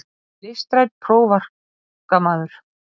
Ég er listrænn prófarkamaður.